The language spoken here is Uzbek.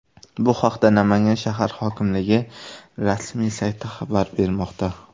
Bu haqda Namangan shahar hokimligi rasmiy sayti xabar bermoqda .